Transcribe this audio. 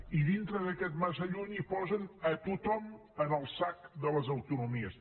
i dintre d’aquest massa lluny hi posen a tothom en el sac de les autonomies